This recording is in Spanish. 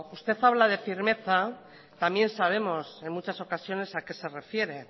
usted habla de firmeza también sabemos en muchas ocasiones a qué se refiere